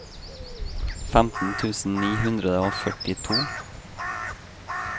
femten tusen ni hundre og førtito